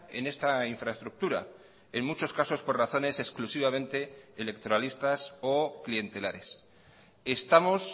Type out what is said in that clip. en esta infraestructura en muchos casos por razones exclusivamente electoralistas o clientelares estamos